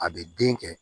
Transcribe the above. A bɛ den kɛ